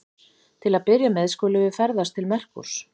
Til að byrja með skulum við ferðast til Merkúrs.